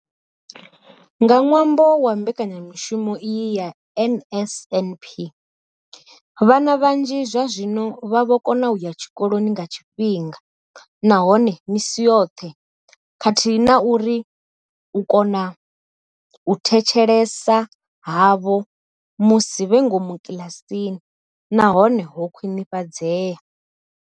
Nga ṅwambo wa mbekanyamushumo iyi ya NSNP, vhana vhanzhi zwazwino vha vho kona u ya tshikoloni nga tshifhinga nahone misi yoṱhe khathihi na uri u kona u thetshelesa havho musi vhe ngomu kiḽasini na hone ho khwinifhadzea.